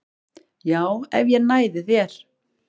Já, ef ég næði þér